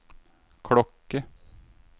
klokke